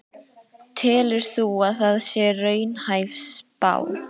Telur þú að það sé raunhæf spá?